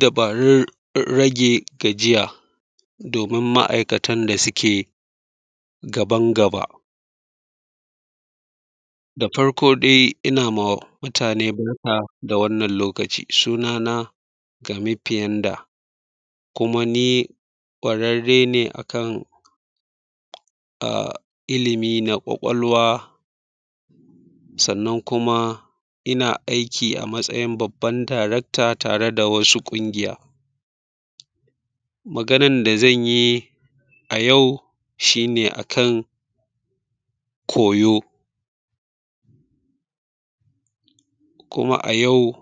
Dabarun rage gajiya, domin ma'aikatan da suke gaban gaba. Da farko dai ina ma mutane barka da wannan lokaci. Sunana, Gami Piyanda, kuma ni ƙwararre ne a kan, a, ilimi na ƙwaƙwalwa, sannan kuma, ina aiki a matsayin babban Darakta tare da wasu ƙungiya. Maganar da zan yi, a yau shi ne a kan koyo. Kuma a yau,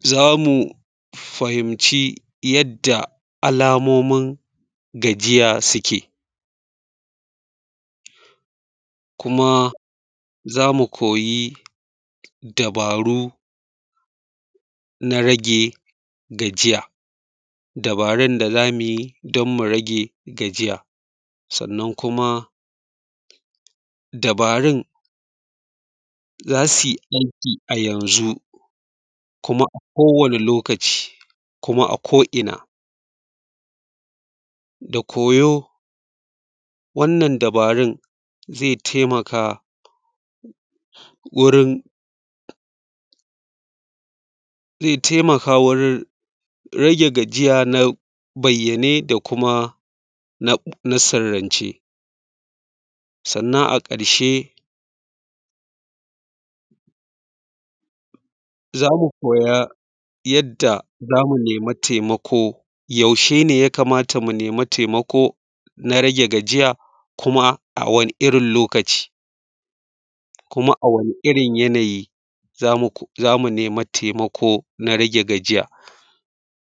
za mu fahimci yadda alamomin gajiya suke. Kuma za mu koyi dabaru na rage gajiya, dabarun da za mu yi, don mu rage gajiya. Sannan kuma, dabarun, za su yi aiki a yanzu, kuma a kowane lokaci, kuma a ko'ina. Da koyo wannan dabarun zai taimaka, wurin, zai taimaka wurin rage gajiya na bayyane da kuma na sirrance. Sannan a ƙarshe, za mu koya yadda za mu nema taimako, yaushe ne ya kamata mu nema taimako na rage gajiya, kuma a wane irin lokaci, kuma a wane irin yanayi za mu nema taimako na rage gajiya?